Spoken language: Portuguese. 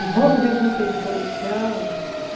E vamos em busca de solução.